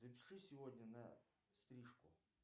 запиши сегодня на стрижку